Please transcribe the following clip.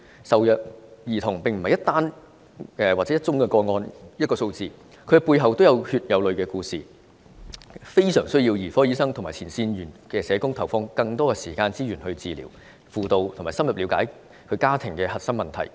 受虐兒童並非一宗個案或一個數字，他們的背後均是有血有淚的故事，非常需要兒科醫生和前線社工投放更多的時間和資源來治療、輔導和深入了解其家庭的核心問題。